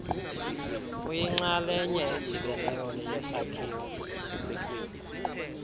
uyinxalenye edibeneyo yesakhiwo